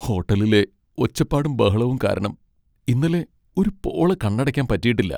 ഹോട്ടലിലെ ഒച്ചപ്പാടും ബഹളവും കാരണം ഇന്നലെ ഒരു പോള കണ്ണടയ്ക്കാൻ പറ്റിയിട്ടില്ല.